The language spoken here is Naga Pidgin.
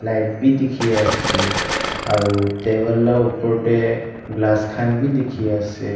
light b diki ase aro taikan la upor de glass kan b diki ase.